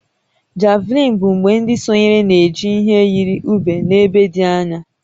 Javelin bụ mgbe ndị sonyere na-eji ihe yiri ube n'ebe dị anya